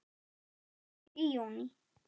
Kvöld í júní.